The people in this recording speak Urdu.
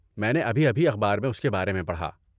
میں نے ابھی ابھی اخبار میں اس کے بارے میں پڑھا۔